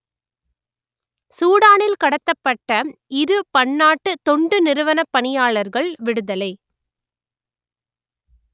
சூடானில் கடத்தப்பட்ட இரு பன்னாட்டு தொண்டு நிறுவனப் பணியாளர்கள் விடுதலை